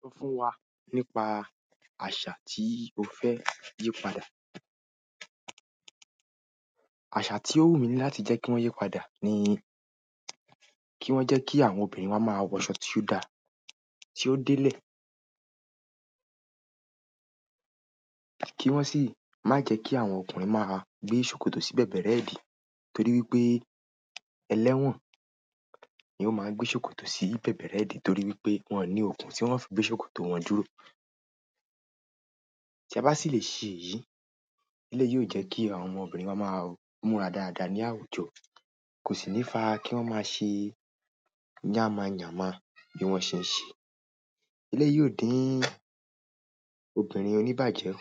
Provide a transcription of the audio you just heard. Sọ fún wa nípa àṣà tí o fẹ́ yí padà. Àṣà tí ó wù mí láti jẹ́ kí wọ́n yí padà ni kí wọ́n jẹ́ kí àwọn obìnrin máa wọ shoti ó dá tí ó dé lè. Kí wọ́n sì má jẹ kí àwọn ọkùnrin má gbé ṣòkòtò sí bẹ̀bẹ̀rẹ́ ẹ̀dín torí wípé ẹlẹ́wọ̀n ni ó máa ń gbé ṣòkòtò sí bẹ̀bẹ̀rẹ́ ẹ̀dín torí wípé wọ́n ni okùn tí wọ́n fi gbé ṣòkòtò wọn dúrò. Ti a ba si le se èyí, eleyi yio je ki àwọn omobirin wa ma múra dada ni àwùjọ, ko si ni fa ki won ma se yama yama bi won shey n se. Eleyi yóò dín obìnrin oníbàjẹ́